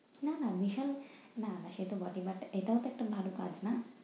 না না বিশাল না সেতো বটেই but এটাও তো একটা ভালো কাজ, নাহ?